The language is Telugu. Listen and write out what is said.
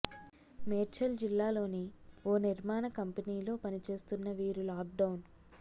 మేడ్చల్ జిల్లాలోని ఓ నిర్మాణ కంపెనీలో పనిచేస్తున్న వీరు లాక్ డౌన్